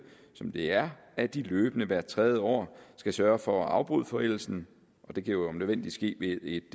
som det er at de løbende hvert tredje år skal sørge for at afbryde forældelsen det kan jo om nødvendigt ske ved et